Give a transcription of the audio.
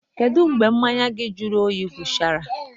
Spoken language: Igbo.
Kedu mgbe mmanya gị jụrụ oyi gwụchara?